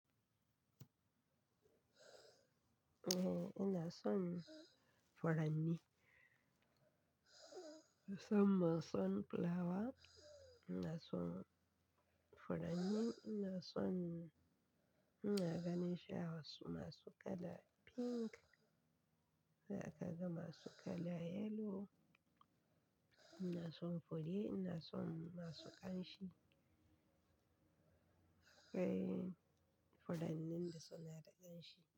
Ehh ina son furanni. Musamman son plawa, ina son furanni, ina son na gani sha wasu masu kala pink, za a ka ga masu kala yellow. Ina son foli, ina son masu ƙanshi. Eh, furannin da suna da ƙanshi.